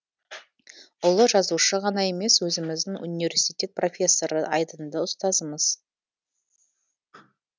ұлы жазушы ғана емес өзіміздің университет профессоры айдынды ұстазымыз